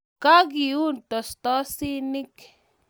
Kageun tostosinik